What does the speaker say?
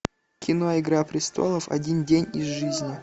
кино игра престолов один день из жизни